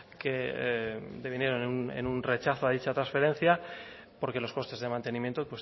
que devinieron en un rechazo a dicha transferencia porque los costes de mantenimiento